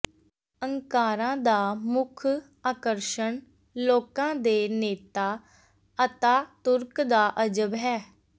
Ankara ਦਾ ਮੁੱਖ ਆਕਰਸ਼ਣ ਲੋਕਾਂ ਦੇ ਨੇਤਾ ਅਤਾਤੁਰਕ ਦਾ ਅਜਬ ਹੈ